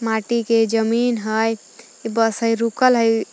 माटी के जमीन हइ बस हइ रुकल हइ।